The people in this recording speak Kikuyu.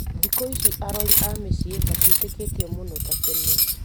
Thikũ ici arori a mĩciĩni matiĩtĩkĩtio mũno ta tene,